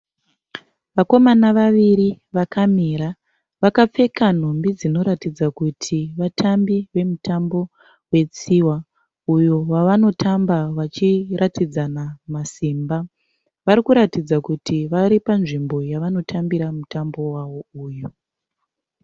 Vakomana vaviri vakamira. Vakapfeka nhumbi dzinoratidza kuti vatambi vemutambo wetsiva uyo wavanotamba vachiratidzana masimba. Vari kuratidza kuti vari panzvimbo yavanotambira mutambo wavo uyu.